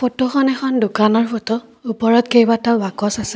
ফটোখন এখন দোকানৰ ফটো ওপৰত কেইবাটাও বাকচ আছে।